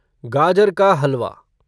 गजर का हलवा